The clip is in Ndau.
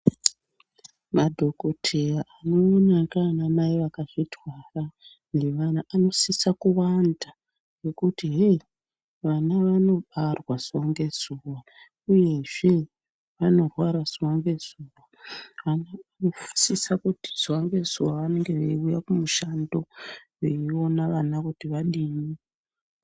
Madhokodheya anoona nganamai akazvitwara anosisa kuwanda ngekuti yei vana vanobarwa zuwa ngezuwa uyezve vanorwara zuwa ngezuwa vanosisa kuti zuwa nguzuwa veiuya kumishando veiona vana kuti vadini .